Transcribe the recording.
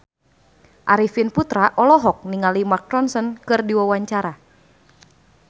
Arifin Putra olohok ningali Mark Ronson keur diwawancara